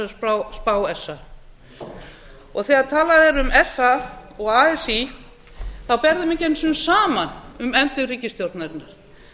þessari spá sa þegar talað er um sa og así ber þeim ekki einu sinni saman um efndir ríkisstjórnarinnar